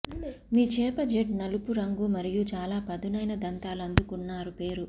మీ చేప జెట్ నలుపు రంగు మరియు చాలా పదునైన దంతాలు అందుకున్నారు పేరు